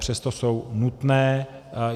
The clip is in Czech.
Přesto jsou nutné.